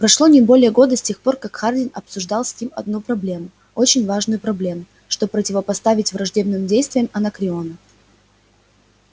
прошло не более года с тех пор как хардин обсуждал с ним одну проблему очень важную проблему что противопоставить враждебным действиям анакреона